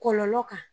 Kɔlɔlɔ kan